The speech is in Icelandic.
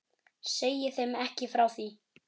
Segi þeim ekki frá því.